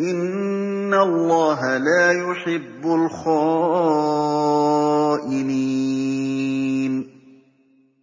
إِنَّ اللَّهَ لَا يُحِبُّ الْخَائِنِينَ